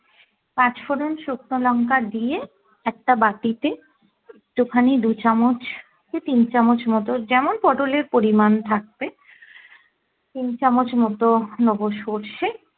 পাঁচফোড়ন শুকনো লঙ্কা দিয়ে একটা বাটিতে একটু খানি দু চামচ কি তিন চামচ মতো যেমন পটোল এর পরিমান থাকবে তিন চামচ মতো নেবো সর্ষে